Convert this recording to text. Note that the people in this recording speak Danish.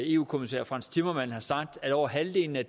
eu kommissær frans timmermans har sagt at over halvdelen af